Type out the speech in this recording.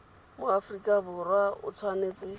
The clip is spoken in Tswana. mo aforika borwa o tshwanetse